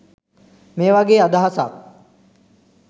මේ වගේ අදහසක්.